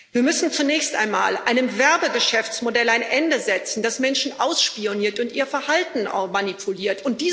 Wir müssen zunächst einmal einem Werbegeschäftsmodell ein Ende setzen, das Menschen ausspioniert und ihr Verhalten manipuliert.